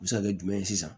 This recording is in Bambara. U bɛ se ka kɛ jumɛn ye sisan